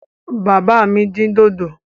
Bàbá mi dín dòdò.